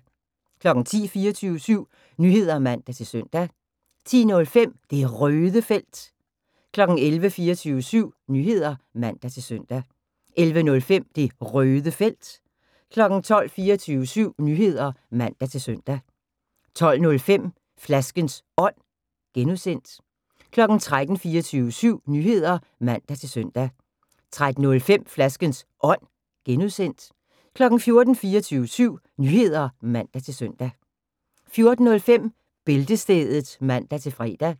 10:00: 24syv Nyheder (man-søn) 10:05: Det Røde Felt 11:00: 24syv Nyheder (man-søn) 11:05: Det Røde Felt 12:00: 24syv Nyheder (man-søn) 12:05: Flaskens Ånd (G) 13:00: 24syv Nyheder (man-søn) 13:05: Flaskens Ånd (G) 14:00: 24syv Nyheder (man-søn) 14:05: Bæltestedet (man-fre)